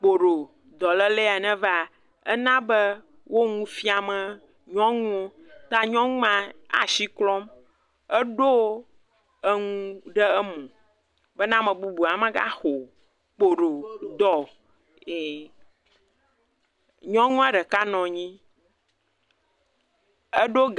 kpoɖo, dɔléle ye neva, ena be wo nu fiam nyɔnuwo, ta nyɔnu ma asi klɔm, eɖo enu ɖe mo be ame bubu hã magaxɔ kpoɖo dɔ, ee.. Nyɔnu a dɛka nɔnyi ɛdo ...